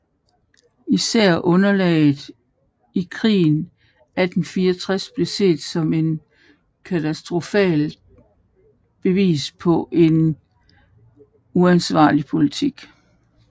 Især nederlaget i krigen 1864 blev set som et katastrofalt bevis på en uansvarlig politik